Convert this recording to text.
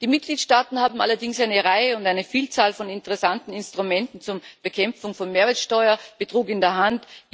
Die Mitgliedstaaten haben allerdings eine Vielzahl von interessanten Instrumenten zur Bekämpfung von Mehrwertsteuerbetrug in der Hand.